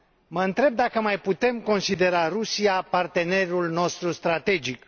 Mă întreb dacă mai putem considera Rusia partenerul nostru strategic.